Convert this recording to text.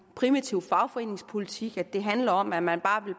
primitiv fagforeningspolitik altså at det handler om at man